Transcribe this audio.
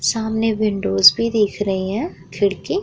सामने विंडोज भी दिख रही हैं खिड़की --